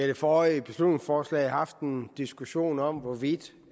det forrige beslutningsforslag haft en diskussion om hvorvidt